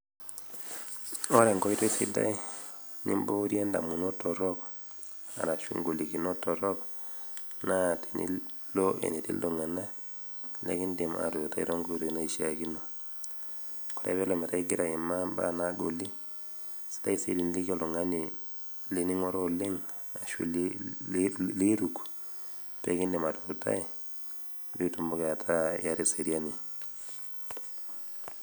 ore enkoitoi sidai nimboorie ndamunot torok arashu ng'olikinot torok na tenilo enetii iltung'anak nikindim atutai tonkoitoi naishakino. kake enigira aimaa mbaa nagoli sidai eniliki oltungáni lining'ore oleng' ashu liruk likindim atuutai pitumoki ataa iyata eseriani